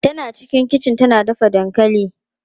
Tana cikin kichi tana dafa dankali.